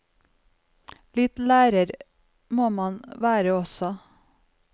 Litt lærer må man være også.